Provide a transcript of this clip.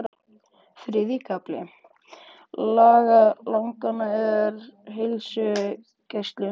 Þriðji kafli laganna er um heilsugæslu.